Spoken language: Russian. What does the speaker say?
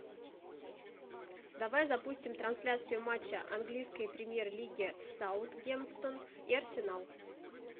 давай запустим трансляцию матча английской премьер лиги саутгемптон и арсенал